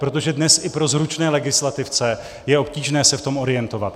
Protože dnes i pro zručné legislativce je obtížné se v tom orientovat.